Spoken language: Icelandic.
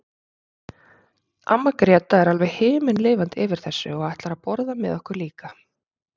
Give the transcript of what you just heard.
Amma Gréta er alveg himinlifandi yfir þessu og ætlar að borða með okkur líka.